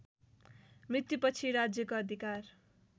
मृत्युपछि राज्यको अधिकार